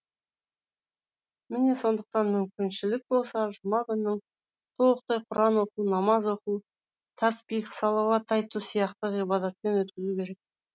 міне сондықтан мүмкіншілік болса жұма күнін толықтай құран оқу намаз оқу тәсбих салауат айту сияқты ғибадатпен өткізу керек